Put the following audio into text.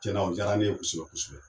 Cɛn na o jaara ne ye kosɛbɛ kosɛbɛ.